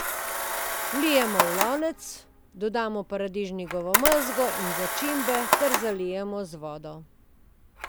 Vlijemo v lonec, dodamo paradižnikovo mezgo in začimbe ter zalijemo z vodo.